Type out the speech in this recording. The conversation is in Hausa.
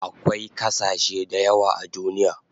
Akwai kasashe dayawa a duniya